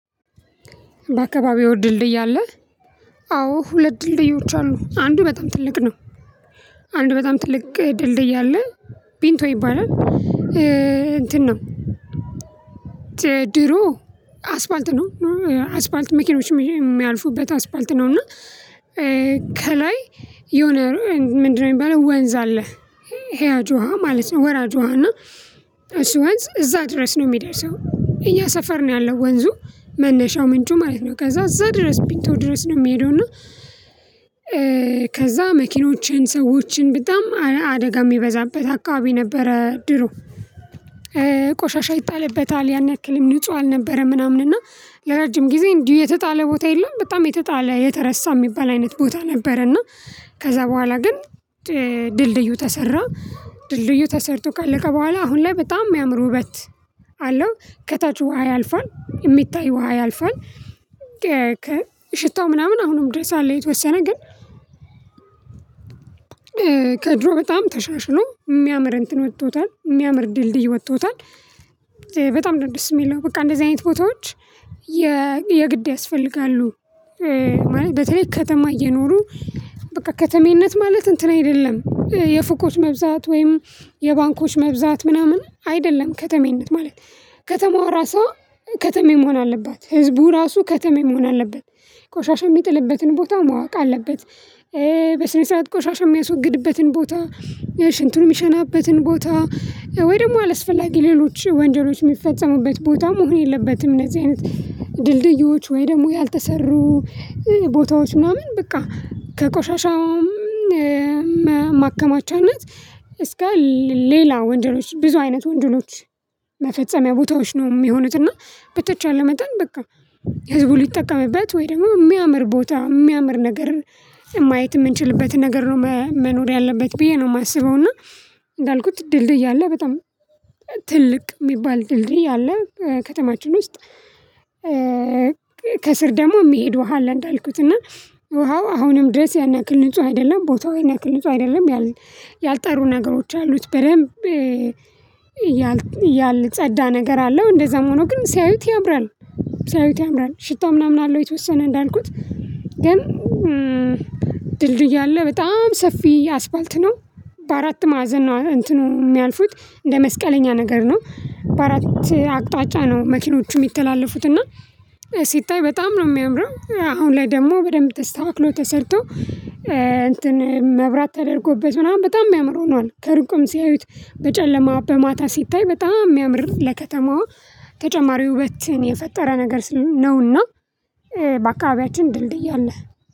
በአካባቢው ድልድይ አለ። አዎ ሁለት ድልድዮች አሉ አንዱ በጣም ትልቅ ነው። አንዱ በጣም ትልቅ ድልድይ አለ። ቢንቶ ይባላል። እንትን ነው። ድሮ አስፓልት ነው። አስፓልት መኪኖች የሚያልፉበት አስፓልት ነው። እና ከላይ የሆነ ምንድነው የሚባለው ወንዝ አለ። ሄያጅ ውሃ ማለት ነው። ወራጅ ውሃ ወሃና እሱ ወንዝ እዛ ድረስ ነው የሚደርሰው። እኛ ሰፈር ነው ያለው ወንዙ መነሻው ምንጩ ማለት ነው። ከዛ እዛ ድረስ ቢተው ድረስ ነው የሚሄደው። እና ከዛ መኪኖቼን ሰዎችን በጣም አደጋ የሚበዛበት አካባቢ ነበረ። ድሮ ቆሻሻ ይጣልበታል ያን ያክልም ንጹህ አልነበረም። ምናምን እና ለረጅም ጊዜ እንዲሁ የተጣለ ቦታ የለም በጣም የተጣለ የተረሳ የሚባል አይነት ቦታ ነበረና። ከዛ በኋላ ግን ድልድዩ ተሰራ። ድልድዩ ተሰርቶ ካለቀ በኋላ አሁን ላይ በጣም የሚያምሩ ውበት አለው። ከታች ውሃ ያልፋል የሚታይ ውሃ ያልፋል። ሽታው ምናምን አሁንም ድረስ አለ የተወሰነ ግን። ከድሮ በጣም ተሻሽሎ የሚያምር እንትን ወጥቶታል የሚያምር ድልድይ ወጥቶታል። በጣም ደስ የሚለው በቃ እንደዚህ አይነት ቦታዎች የግድ ያስፈልጋሉ። ማለት በተለይ ከተማ እየኖሩ በቃ ከተሜነት ማለት እንትን አይደለም የፍቆች መብዛት ወይም የባንኮች መብዛት ምናምን አይደለም። ከተሜነት ማለት ከተማዋ ራሷ ከተሜ መሆን አለበት ህዝቡ ራሱ ከተሜ መሆን አለበት። ቆሻሻ የሚጥልበትን ቦታ ማወቅ አለበት። በስነ ስርዓት ቆሻሻ የሚያስወግድበትን ቦታ ሽንትሩ የሚሸናበትን ቦታ ወይ ደግሞ አላስፈላጊ ሌሎች ወንጀሎች የሚፈጸሙበት ቦታ መሆን የለበትም። እነዚህ አይነት ድልድዮች ወይ ደግሞ ያልተሰሩ ቦታዎች ምናምን በቃ ከቆሻሻውም ማከማቻነት እስከ ሌላ ወንጀሎች ብዙ አይነት ወንጀሎች መፈጸሚያ ቦታዎች ነው የሚሆኑት። እና በተቻለ መጠን በቃ ህዝቡ ሊጠቀምበት ወይ ደግሞ የሚያምር ቦታ የሚያምር ነገርን ማየት የምንችልበት ነገር ነው። መኖር ያለበት ብዬ ነው የማስበው። እና እንዳልኩት ድልድይ አለ በጣም ትልቅ የሚባል ድልድይ አለ ከተማችን ውስጥ። ከስር ደግሞ የሚሄድ ውሃ አለ እንዳልኩት እና ውሃው አሁንም ድረስ ያን ያክል ንጹህ አይደለም ቦታው ያን ያክል ንጹህ አይደለም። ያልጠሩ ነገሮች አሉት በደንብ እያልን እያልን ጸዳ ነገር አለው እንደዛም ሆኖ ግን ሲያዩት ያምራል። ሲያዩት ያምራል ሽታ ምናምን አለው የተወሰነ እንዳልኩት ግን ድልድይ አለ በጣም ሰፊ አስፓልት ነው። በአራት ማዕዘን ነው እንትኑ የሚያልፉት እንደ መስቀለኛ ነገር ነው። በአራት አቅጣጫ ነው መኪኖቹ የሚተላለፉት እና። ሲታይ በጣም ነው የሚያምረው አሁን ላይ ደግሞ በደንብ ተስተካክሎ ተሰርቶ እንትን መብራት ተደርጎበት ምናምን በጣም የሚያምር ሆኗል። ከርቁም ሲያዩት በጨለማ በማታ ሲታይ በጣም የሚያምር ለከተማዋ ተጨማሪ ውበትን የፈጠረ ነገር ስለሆነ ነውና። በቃ አብያችን ድልድይ አለ